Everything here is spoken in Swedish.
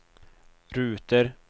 ruter